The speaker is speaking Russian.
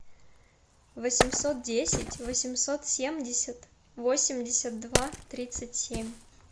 восемьсот десять восемьсот семьдесят восемьдесят два тридцать семь